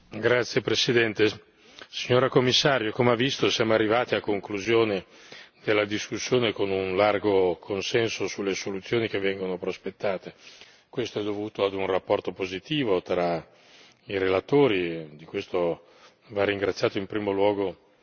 Signor Presidente, onorevoli colleghi, signora Commissario, come ha visto siamo arrivati a conclusione della discussione con un largo consenso sulle soluzioni che vengono prospettate. Questo è dovuto a un rapporto positivo tra i relatori e di questo va ringraziato in primo luogo